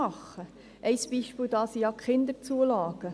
Ein Beispiel sind die Kinderzulagen.